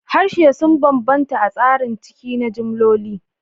Harsuna sun bambanta a tsarin ciki na jimloli